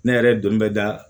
Ne yɛrɛ ye don bɛ da